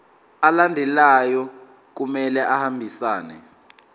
alandelayo kumele ahambisane